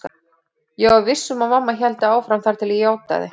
Ég var viss um að mamma héldi áfram þar til ég játaði.